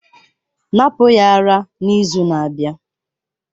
Napụ ya ara n'izu na-abịa!